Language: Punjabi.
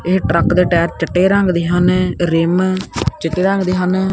ਇਹ ਟਰੱਕ ਦੇ ਟਾਇਰ ਚਿੱਟੇ ਰੰਗ ਦੇ ਹਨ ਰਿਮ ਚਿੱਟੇ ਰੰਗ ਦੇ ਹਨ।